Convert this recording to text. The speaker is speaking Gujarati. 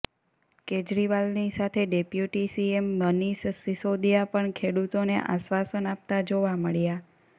કેજરીવાલની સાથે ડેપ્યુટી સીએમ મનીષ સિસોદિયા પણ ખેડૂતોને આશ્વાસન આપતા જોવા મળ્યા